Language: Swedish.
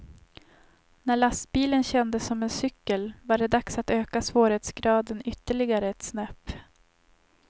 När lastbilen kändes som en cykel var det dags att öka svårighetsgraden ytterligare ett snäpp.